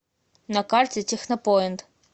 на карте технопоинт